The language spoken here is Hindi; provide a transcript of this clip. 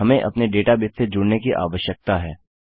हमें अपने डेटाबेस से जुड़ने की आवश्यकता है